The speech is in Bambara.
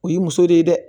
O ye muso de ye dɛ